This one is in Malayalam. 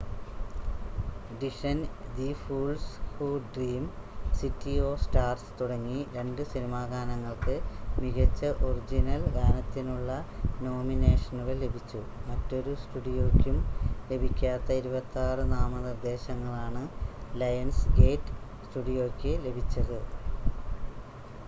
ഡിഷൻ the fools who dream city of stars തുടങ്ങി രണ്ട് സിനിമാ ഗാനങ്ങൾക്ക് മികച്ച ഒറിജിനൽ ഗാനത്തിനുള്ള നോമിനേഷനുകൾ ലഭിച്ചു. മറ്റൊരു സ്റ്റുഡിയോയ്ക്കും ലഭിക്കാത്ത 26 നാമനിർദ്ദേശങ്ങളാണ് ലയൺസ്‌ഗേറ്റ് സ്റ്റുഡിയോയ്ക്ക് ലഭിച്ചത്